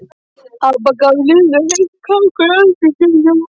Amma gaf Lillu heitt kakó í eldhúsinu.